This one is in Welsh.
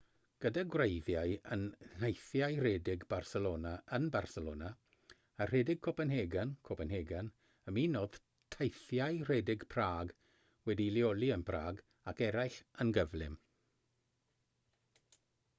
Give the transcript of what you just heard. gyda gwreiddiau yn nheithiau rhedeg barcelona yn barcelona a rhedeg copenhagen copenhagen ymunodd teithiau rhedeg prague wedi'i leoli yn prague ac eraill yn gyflym